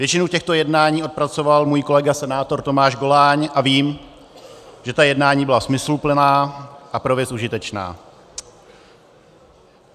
Většinu těchto jednání odpracoval můj kolega senátor Tomáš Goláň a vím, že ta jednání byla smysluplná a pro věc užitečná.